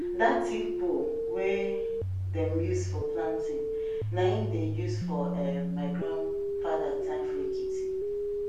that thick pole wey dem dey use for planting na em dem dey use for um my grandfather time for ekiti